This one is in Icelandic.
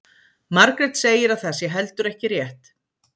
Margrét segir að það sé heldur ekki rétt.